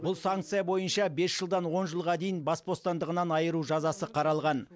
бұл санкция бойынша бес жылдан он жылға дейін бас бостандығынан айыру жазасы қаралған